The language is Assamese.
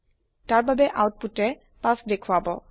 তাৰ বাবে আওতপুতে ৫ দেখুৱাব